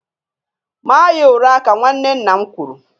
Maa ya ụra ka nwanne nna m kwụrụ